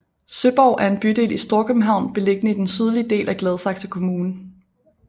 Søborg er en bydel i Storkøbenhavn beliggende i den sydlige del af Gladsaxe kommune